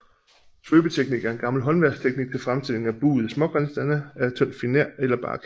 Svøbeteknik er en gammel håndværksteknik til fremstilling af buede smågenstande af tynd finer eller bark